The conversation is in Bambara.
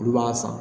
Olu b'a san